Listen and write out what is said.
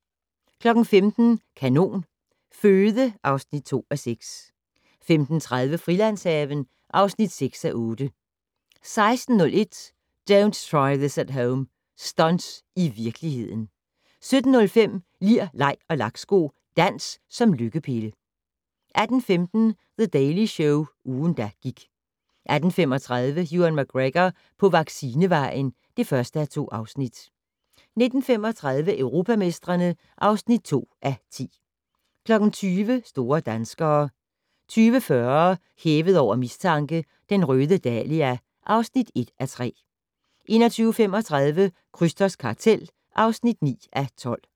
15:00: Kanon Føde (2:6) 15:30: Frilandshaven (6:8) 16:01: Don't try this at home - stunts i virkeligheden 17:05: Lir, leg og laksko - dans som lykkepille 18:15: The Daily Show - ugen, der gik 18:35: Ewan McGregor på vaccinevejen (1:2) 19:35: Europamestrene (2:10) 20:00: Store danskere 20:40: Hævet over mistanke: Den røde dahlia (1:3) 21:35: Krysters kartel (9:12)